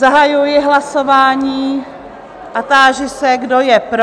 Zahajuji hlasování a táži se, kdo je pro?